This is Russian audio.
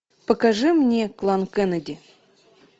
покажи мне клан кеннеди